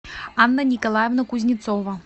анна николаевна кузнецова